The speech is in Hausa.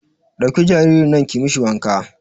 Ɗauki jaririn nan ki mishi wanka